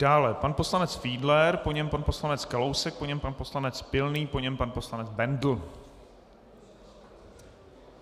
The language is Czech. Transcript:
Dále pan poslanec Fiedler, po něm pan poslanec Kalousek, po něm pan poslanec Pilný, po něm pan poslanec Bendl.